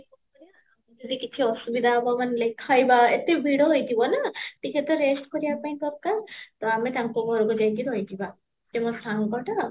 ଯଦି କିଛି ଅସୁବିଧା ହବ like ଖାଇବା ଏତେ ଭିଡ଼ ହେଇ ଯିବ ନା, ଟିକେ ତ rest କରିବା ପାଇଁ ଦରକାର, ତ ଆମେ ତାଙ୍କ ଘରକୁ ଯାଇକି ରହି ଯିବା, ସେ ମୋ ସାଙ୍ଗଟା